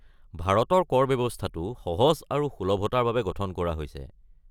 ভাৰতৰ কৰ ব্যৱস্থাটো সহজ আৰু সুলভতাৰ বাবে গঠন কৰা হৈছে|